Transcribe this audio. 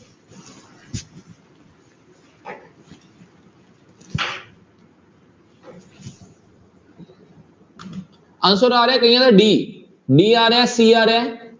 answer ਆ ਰਿਹਾ ਕਈਆਂ ਦਾ d, d ਆ ਰਿਹਾ ਹੈ c ਆ ਰਿਹਾ ਹੈ।